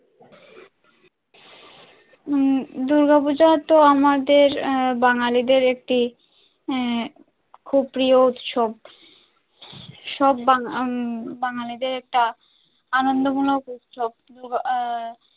উম দূর্গাপূজা তো আমাদের বাঙালিদের একটি উম খুব প্রিয় উৎসব সব বাঙালিদের এটা আনন্দ মূলক উৎসব।